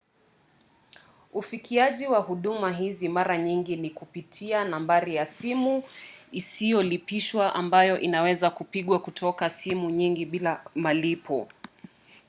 ufikiaji wa huduma hizi mara nyingi ni kupitia nambari ya simu isiyolipishwa ambayo inaweza kupigwa kutoka simu nyingi bila malipo